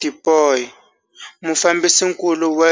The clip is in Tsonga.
Tipoy, mufambisinkulu wa